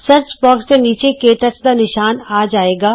search box ਦੇ ਨੀਚੇ ਕੇ ਟੱਚ ਦਾ ਨਿਸ਼ਾਨ ਆ ਜਾਏਗਾ